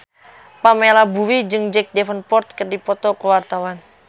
Pamela Bowie jeung Jack Davenport keur dipoto ku wartawan